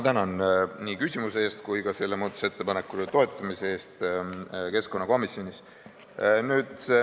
Tänan nii küsimuse eest kui ka selle muudatusettepaneku toetamise eest keskkonnakomisjonis!